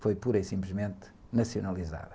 foi pura e simplesmente nacionalizada.